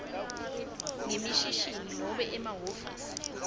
ngemishini nobe emahhovisi